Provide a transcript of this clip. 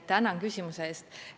Tänan küsimuse eest!